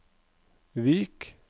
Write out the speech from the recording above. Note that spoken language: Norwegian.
Vik